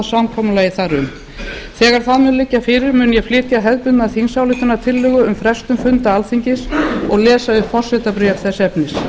samkomulagi þar um þegar það mun liggja fyrir mun ég flytja hefðbundna þingsályktunartillögu um frestun funda alþingis og lesa upp forsetabréf þess efnis